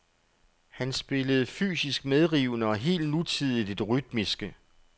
Han spillede fysisk medrivende og helt nutidigt i det rytmiske.